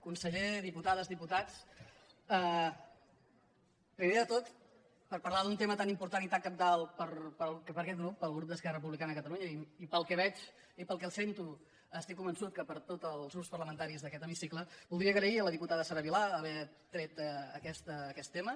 conseller diputades diputats primer de tot per parlar d’un tema tan important i tan cabdal per aquest grup pel grup d’esquerra republicana de catalunya i pel que veig i pel que sento estic convençut que per tots els grups parlamentaris d’aquest hemicicle voldria agrair a la diputada sara vilà haver tret aquest tema